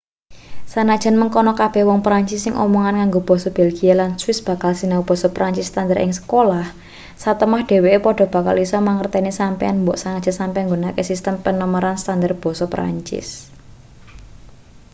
senajan mengkono kabeh wong perancis sing omongan ngango basa belgia lan swiss bakal sinau basa perancis standar ing sekolah satemah dheweke padha bakal isa mangerteni sampeyan mbok senajan sampeyan nggunakake sistem penomeran standar basa perancis